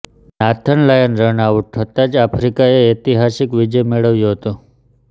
Nathan Lyon run out થતા જ આફ્રિકાએ ઐતિહાસિક વિજય મેળવ્યો હતો